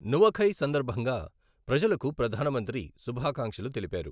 నువఖై సందర్భంగా ప్రజలకు ప్రధానమంత్రి శుభాకాంక్షలు తెలిపారు.